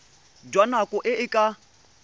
jwa nako e e ka